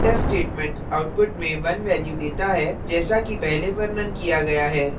यह printf statement outputs में 1 value देता है जैसा कि पहले वर्णन किया गया है